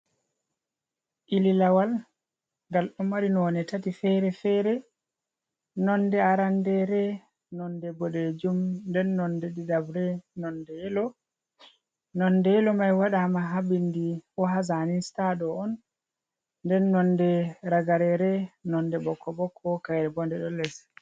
Iilalawal, ngal ɗo mari noone tati feere-feere nonnde aranndeere nonnde boɗeejum, nden nonnde ɗiɗaɓre nonnde yelo, nonnde yelo may waɗaama haa binndi bo haa zaani sita ɗo on, nden nonnde ragareere nonnde bokko-bokko kayre bo nde ɗo les.